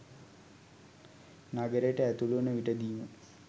නගරයට ඇතුළු වන විටදීම